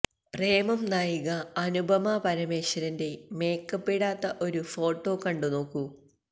പ്രേമം നായിക അനുപമ പരമേശ്വരന്റെ മേക്കപ്പിടാത്ത ഒരു ഫോട്ടോ കണ്ടു നോക്കൂ